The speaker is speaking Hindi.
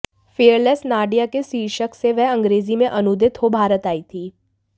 फियरलेस नाडिया के शीर्षक से वह अंग्रेजी में अनूदित हो भारत आई थी